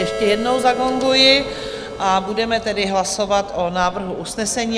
Ještě jednou zagonguji, a budeme tedy hlasovat o návrhu usnesení.